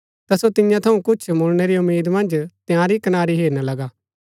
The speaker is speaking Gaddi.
ता सो तियां थऊँ कुछ मुळणै री उम्मीद मन्ज तंयारी कनारी हेरना लगा